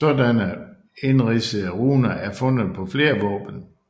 Sådanne indridsede runer er fundet på flere våben